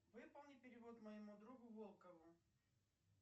выполни перевод моему другу волкову